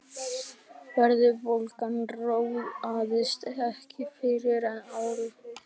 verðbólgan róaðist ekki fyrr en ári síðar